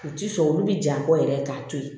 U ti sɔn olu bɛ ja bɔ yɛrɛ k'a to yen